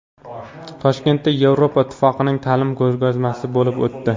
Toshkentda Yevropa Ittifoqining ta’lim ko‘rgazmasi bo‘lib o‘tdi.